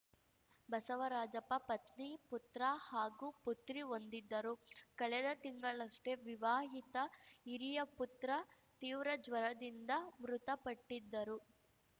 ಬಸವರಾಜಪ್ಪ ಪತ್ನಿ ಪುತ್ರ ಹಾಗೂ ಪುತ್ರಿ ಹೊಂದಿದ್ದರು ಕಳೆದ ತಿಂಗಳಷ್ಟೇ ವಿವಾಹಿತ ಹಿರಿಯ ಪುತ್ರ ತೀವ್ರ ಜ್ವರದಿಂದ ಮೃತಪಟ್ಟಿದ್ದರು